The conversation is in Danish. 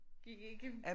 Gik ikke